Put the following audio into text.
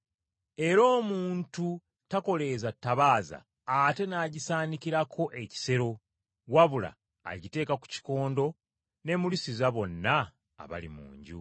Era omuntu takoleeza ttabaaza ate n’agisaanikirako ekibbo, wabula agiteeka ku kikondo n’emulisiza bonna abali mu nju.